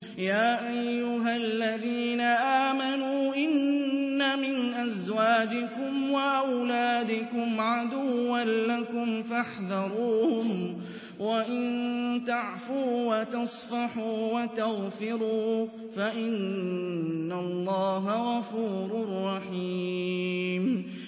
يَا أَيُّهَا الَّذِينَ آمَنُوا إِنَّ مِنْ أَزْوَاجِكُمْ وَأَوْلَادِكُمْ عَدُوًّا لَّكُمْ فَاحْذَرُوهُمْ ۚ وَإِن تَعْفُوا وَتَصْفَحُوا وَتَغْفِرُوا فَإِنَّ اللَّهَ غَفُورٌ رَّحِيمٌ